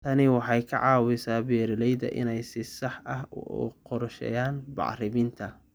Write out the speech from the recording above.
Tani waxay ka caawisaa beeralayda inay si sax ah u qorsheeyaan bacriminta